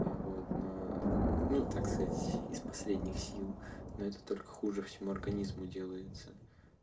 ну вот на ну так сказать из последних сил но это только хуже всему организму делается